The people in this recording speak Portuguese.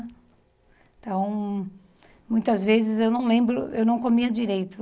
Então, muitas vezes eu não lembro, eu não comia direito.